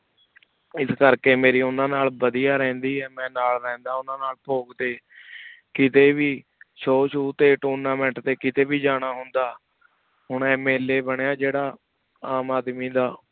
ਇਸ ਕਰ ਕੀ ਮੇਰੇ ਓਹਨਾ ਨਾਲ ਵਾਦਿਯ ਰਿਹੰਦੀ ਆ ਮੈਂ ਨਾਲ ਰਹੰਦਾ ਓਹਨਾ ਨਾਲ ਪੋਗ ਟੀ ਕੀਤੀ ਵੇ Show Show ਟੀ tournament ਟੀ ਕੀਤੀ ਵੇ ਜਾਣਾ ਹੁੰਦਾ ਹੁਣ ਆਯ MLA ਬੰਰਯ ਜੇਰਾ ਆਮ ਆਦਮੀ ਦਾ